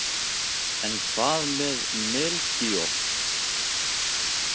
En hvað með Melkíor?